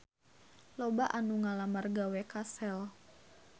Loba anu ngalamar gawe ka Shell